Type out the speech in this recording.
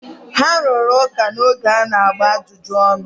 ha rụrụ ụka n’oge a na-agba ajụjụ ọnụ